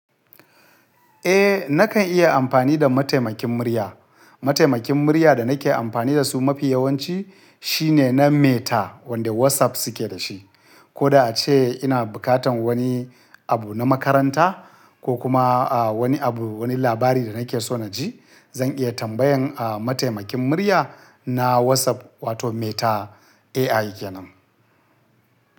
Eh, nakan iya amfani da mataimakin murya. Mataimakin murya da nake amfani da su mafi yawanci shine na Meta wanda WhatsApp suke da shi. Ko da a ce ina bukatan wani abu na makaranta ko kuma, a, wani abu, wani labari da nake so na ji, zan iya tambayan, a, mataimakin murya na WhatsApp wato Meta AI kenan.